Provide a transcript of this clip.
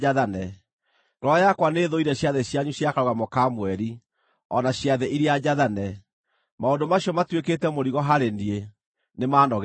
Ngoro yakwa nĩĩthũire ciathĩ cianyu cia Karũgamo ka Mweri, o na ciathĩ iria njathane. Maũndũ macio matuĩkĩte mũrigo harĩ niĩ, nĩmanogetie.